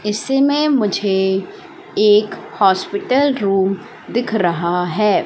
इससे मैं मुझे एक हॉस्पिटल रुम दिख रहा है।